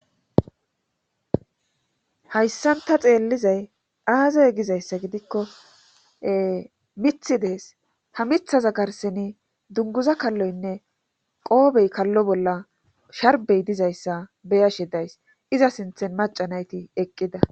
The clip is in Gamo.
Hayssan ta xeellizay aazey gizayssa gidikko mithi dees ha mithaza garseni dunguza kalloynne qoobey kallo bolla sharbey dizayssa beyashe days iza sinthen maca nayti eqqida.